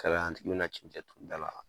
Kala i bɛ na cɛncɛn ton n da la